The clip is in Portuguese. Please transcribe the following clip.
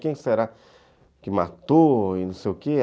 Quem será que matou? E não sei o quê